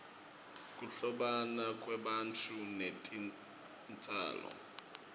kuhlobana kwebantfu netitjalo